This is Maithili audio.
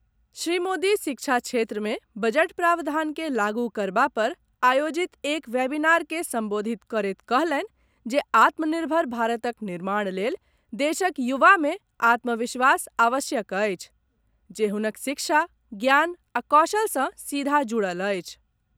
श्री मोदी शिक्षा क्षेत्र मे बजट प्रावधान के लागू करबा पर आयोजित एक वेबिनार के संबोधित करैत कहलनि जे आत्मनिर्भर भारतक निर्माण लेल देशक युवा मे आत्मविश्वास आवश्यक अछि जे हुनक शिक्षा, ज्ञान आ कौशल सॅ सीधा जुड़ल अछि।